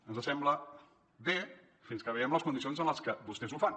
ens sembla bé fins que veiem les condicions en què vostès ho fan